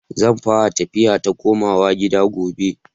Zan fara tafiya ta komawa gida gobe.